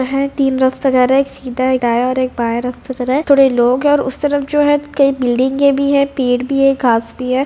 यह तीन रास्ते जा रहा है एक सीधा एक दाया और एक बाया रास्ता जा रहा है थोड़े लोग है और उस तरफ जो है कई बिल्डिंगे भी है पेड़ भी है घास भी है।